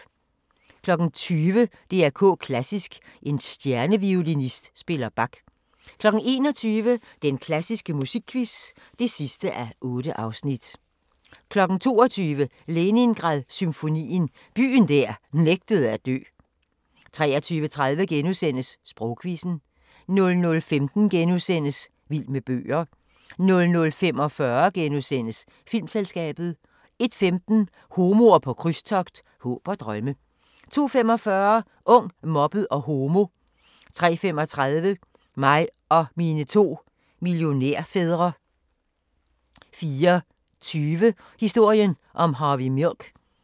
20:00: DR K Klassisk: En stjerneviolinist spiller Bach 21:00: Den klassiske musikquiz (8:8) 22:00: Leningrad-symfonien – byen der nægtede at dø 23:30: Sprogquizzen * 00:15: Vild med bøger * 00:45: Filmselskabet * 01:15: Homoer på krydstogt – håb og drømme 02:45: Ung, mobbet og homo 03:35: Mig og mine to millionærfædre 04:20: Historien om Harvey Milk